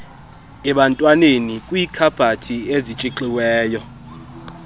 ebantwaneni kwiikhabhathi ezitshixiweyo